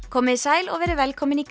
komiði sæl og verið velkomin í